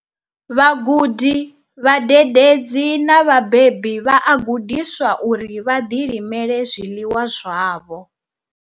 Vhagudi, vhadededzi na vhabebi vha a gudiswa uri vha ḓi limele zwiḽiwa zwavho.